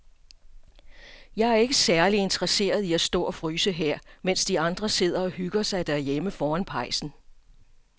Jeg er ikke særlig interesseret i at stå og fryse her, mens de andre sidder og hygger sig derhjemme foran pejsen.